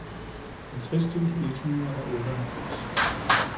halvtreds tusind et hundrede og otteoghalvfems